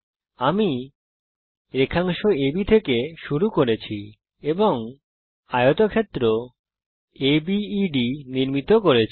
আমি রেখাংশ আব থেকে শুরু করেছি এবং আয়তক্ষেত্র আবেদ নির্মিত করেছি